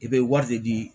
I bɛ wari de di